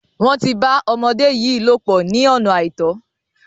Wọ́n ti bá ọmọde yìí lòpò ní ọ̀nà àìtọ́.